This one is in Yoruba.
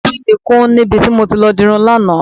Etí mi kún níbi tí mo ti lọ dirun lánàá.